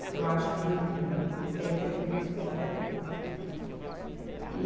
porque eu acho que tem que ter muito mais coisa lá dentro. E